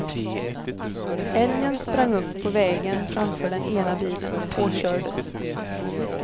Älgen sprang upp på vägen framför den ena bilen och påkördes.